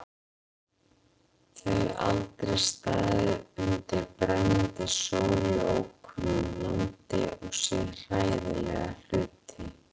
Þau aldrei staðið undir brennandi sól í ókunnu landi og séð hræðilega hluti.